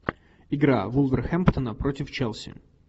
игра вулверхэмптона против челси